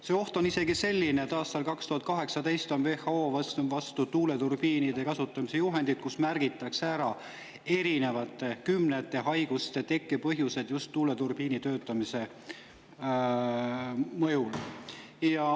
See oht on isegi selline, et aastal 2018 võttis WHO vastu tuuleturbiinide kasutamise juhised, kus märgitakse ära erinevate, kümnete just tuuleturbiinide mõjul tekkivate haiguste tekkepõhjused.